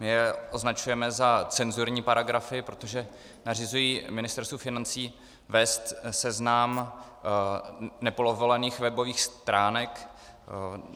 My je označujeme za cenzurní paragrafy, protože nařizují Ministerstvu financí vést seznam nepovolených webových stránek.